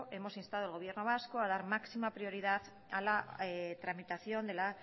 hemos instado al gobierno vasco a dar máxima prioridad a la tramitación de las